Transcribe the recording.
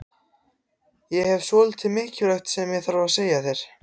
Ég hef svolítið mikilvægt sem ég þarf að segja þér.